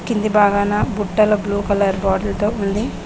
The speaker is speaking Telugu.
కింది బాగానా బుట్టలో బ్లూ కలర్ బాటిల్తో ఉంది.